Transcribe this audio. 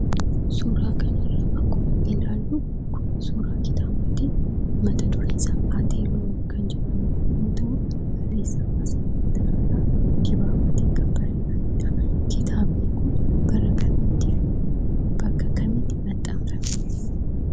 Suuraan kanarraa akkuma ilaallu, kun suuraa kitaabaati. Mataa dureen isaa 'ATE- LOON' kan jedhamu yemmu ta'u, barressaa Asaffaa Tarrafaa Dibaabatiin kan barreffameedha. Kitaabni kun bara kamiittifi bakka kamiitti maxxanfame?